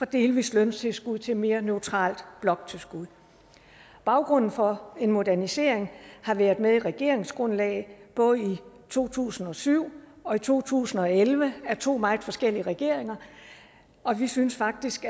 delvist løntilskud til et mere neutralt bloktilskud baggrunden for en modernisering har været med i regeringsgrundlaget både i to tusind og syv og i to tusind og elleve af to meget forskellige regeringer og vi synes faktisk